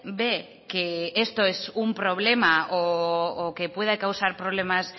ve que esto es un problema o que pueda causar problemas